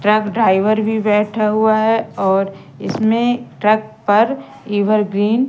truck driver भी बैठा हुआ है ओर इसमें ट्रक पर इवर ग्रीन --